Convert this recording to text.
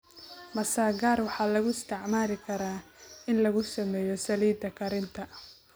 Masagaar waxay loo isticmaali karaa in lagu sameeyo saliidda karinta.